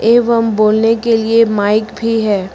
एवं बोलने के लिए माइक भी है।